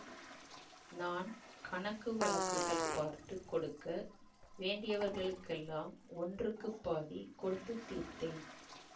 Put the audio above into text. நான் கணக்கு வழக்குகள் பார்த்து கொடுக்க வேண்டியவர்களுக்கெல்லாம் ஒன்றுக்குப் பாதி கொடுத்து தீர்த்தேன்